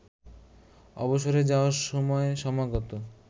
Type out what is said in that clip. অবসরে যাওয়ার সময় সমাগত